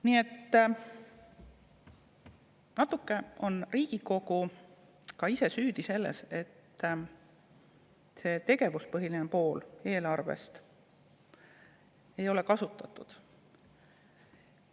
Nii et natuke on Riigikogu ka ise süüdi selles, et tegevuspõhist poolt eelarvest ei ole kasutatud.